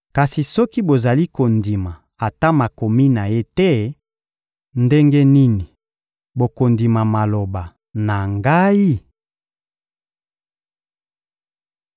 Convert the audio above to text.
Kasi soki bozali kondima ata makomi na ye te, ndenge nini bokondima maloba na Ngai?